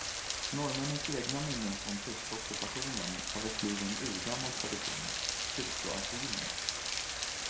Norrmännens egna minnen från tyska ockupationen har väckt liv i en urgammal tradition, kyrkoasylen.